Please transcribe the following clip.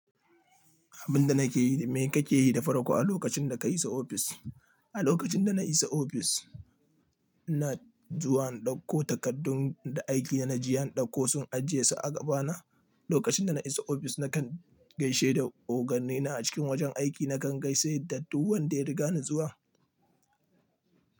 Abin da nake yi da me kake yi da farko a lokacin da ka isa ofis? A lokacin da na isa ofis, ina zuwa in dauko takardun da aiki na ji an ɗauko sun ajiye su a gaba na. Lokacin da na isa ofis, nakan gaishe da oganne na a cikin wajen aiki, nakan gaise da duk wanda ya riga ni zuwa.